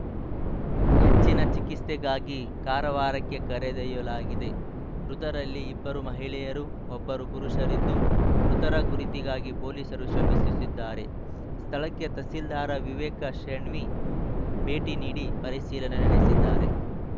ಹೆಚ್ಚಿನ ಚಿಕಿತ್ಸೆಗಾಗಿ ಕಾರವಾರಕ್ಕೆ ಕರೆದೊಯ್ಯಲಾಗಿದೆ ಮೃತರಲ್ಲಿ ಇಬ್ಬರು ಮಹಿಳೆಯರು ಒಬ್ಬರು ಪುರುಷರಿದ್ದು ಮೃತರ ಗುರುತಿಗಾಗಿ ಪೊಲೀಸರು ಶ್ರಮಿಸಿ ಸುತ್ತಿದ್ದಾರೆ ಸ್ಥಳಕ್ಕೆ ತಹಸೀಲ್ದಾರ ವಿವೇಕ ಶೇಣ್ವಿ ಭೇಟಿ ನೀಡಿ ಪರಿಶೀಲನೆ ನಡೆಸಿದ್ದಾರೆ